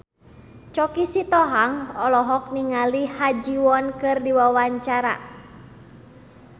Choky Sitohang olohok ningali Ha Ji Won keur diwawancara